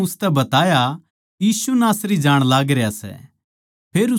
उननै उसतै बताया यीशु नासरी जाण लागरया सै